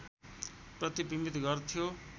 प्रतिबिम्बित गर्थ्यो